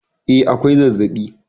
E, akwai zazzabi